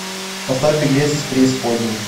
поставь беглец из преисподней